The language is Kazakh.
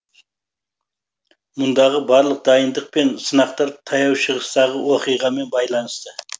мұндағы барлық дайындық пен сынақтар таяу шығыстағы оқиғамен байланысты